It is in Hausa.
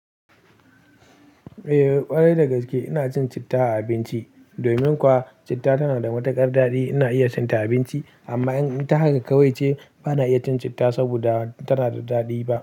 Eh ƙwarai dagaske ina cin citta a abinci. Domin kuwa citta tana da matuƙar daɗi ina iya cin ta a abinci. Amma in ta haka kawai ce ba na iya cin citta saboda tana da daɗi ba.